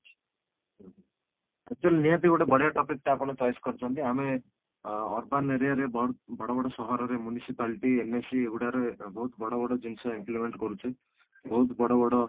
actually ନିହାତି ଗୋଟେ ବଢିଆ topic ଟେ ଆପଣ choice କରିଛନ୍ତି ଆମେ ଅଂ urban area ରେ ବ ବଡ ବଡ ସହରରେ ମୁନିସିପାଲଟି NAC ଏଇଗୁଡ଼ାକରେ ବହୁତ ବଡ ବଡ ଜିନିଷ implement କରୁଛେ ବହୁତ ବଡ ବଡ